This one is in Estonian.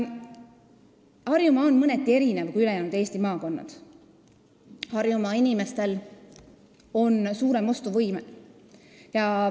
Harjumaa erineb mõneti ülejäänud Eesti maakondadest, Harjumaa inimestel on suurem ostuvõime.